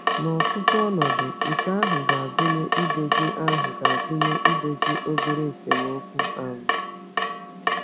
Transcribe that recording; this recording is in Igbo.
N’ọtụtụ ọnọdụ, nke ahụ ga-agụnye idozi ahụ ga-agụnye idozi obere esemokwu. um